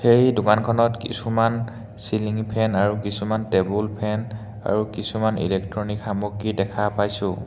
এই দোকানখনত কিছুমান চিলিঙ ই ফেন আৰু কিছুমান টেবুল ফেন আৰু কিছুমান ইলেক্ট্ৰনিক সামগ্ৰী দেখা পাইছোঁ।